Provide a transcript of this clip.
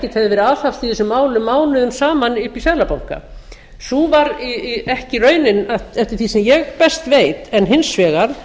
ekkert hefði verið aðhafst í þessum málum mánuðum saman uppi í seðlabanka sú var ekki raunin eftir því sem ég best veit en hins vegar